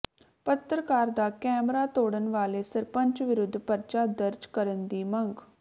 ਪੱਤਰਕਾਰ ਦਾ ਕੈਮਰਾ ਤੋੜਣ ਵਾਲੇ ਸਰਪੰਚ ਵਿਰੁੱਧ ਪਰਚਾ ਦਰਜ ਕਰਨ ਦੀ ਮੰਗ